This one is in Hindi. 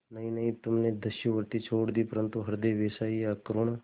नहीं नहीं तुमने दस्युवृत्ति छोड़ दी परंतु हृदय वैसा ही अकरूण